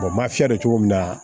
ma fiyɛ cogo min na